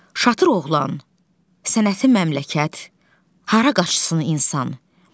Şatır oğlan, sənəti məmləkət, hara qaçsın insan.